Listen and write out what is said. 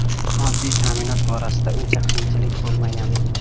Moddiy ta’minot borasida unda qiyinchilik bo‘lmagan.